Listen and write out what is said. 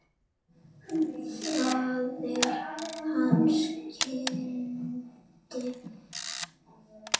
Faðir hans kinkaði kolli.